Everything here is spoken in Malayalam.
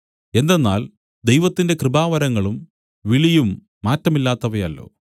എന്തെന്നാൽ ദൈവത്തിന്റെ കൃപാവരങ്ങളും വിളിയും മാറ്റമില്ലാത്തവയല്ലോ